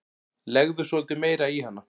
Legðu svolítið meira í hana.